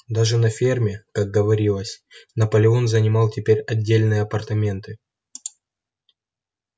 даже на ферме как говорилось наполеон занимал теперь отдельные апартаменты